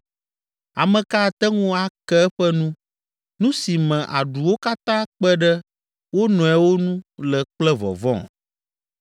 Ame ka ate ŋu ake eƒe nu, nu si me aɖuwo katã kpe ɖe wo nɔewo nu le kple vɔvɔ̃?